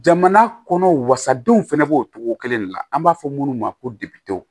Jamana kɔnɔw wasadenw fɛnɛ b'o cogo kelen de la an b'a fɔ minnu ma ko debɛ